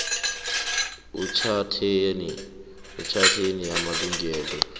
etjhatheni yamalungelo weenguli